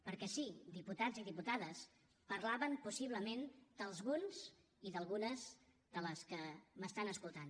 perquè sí diputats i diputades parlaven possiblement d’alguns i d’algunes de les que m’estan escoltant